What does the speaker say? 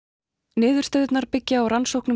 niðurstöðurnar byggja á rannsóknum